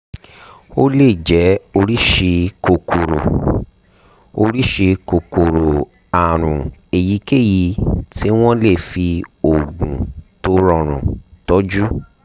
ó lè jẹ́ oríṣi kòkòrò oríṣi kòkòrò àrùn èyíkéyìí tí wọ́n lè fi oògùn tó rọrùn tọ́jú